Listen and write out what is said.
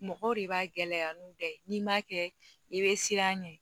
Mɔgɔw de b'a gɛlɛya n'u bɛɛ ye n'i m'a kɛ i bɛ siran a ɲɛ